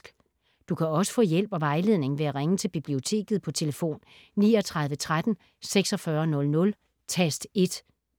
Du kan også få hjælp og vejledning ved at ringe til Biblioteket på tlf. 39 13 46 00, tast 1.